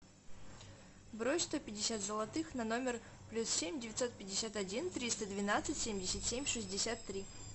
брось сто пятьдесят золотых на номер плюс семь девятьсот пятьдесят один триста двенадцать семьдесят семь шестьдесят три